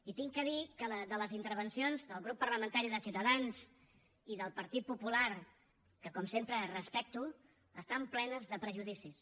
i he de dir que les intervencions del grup parlamentari de ciutadans i del partit popular que com sempre respecto estan plenes de prejudicis